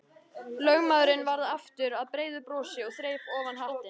Lögmaðurinn varð aftur að breiðu brosi og þreif ofan hattinn.